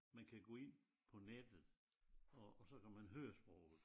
Man kan gå ind på nettet og og så kan man høre sproget